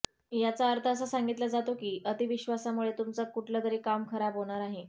याचा अर्थ हा सांगितला जातो की अतिविश्वासामुळे तुमचं कुठलं तरी काम खराब होणार आहे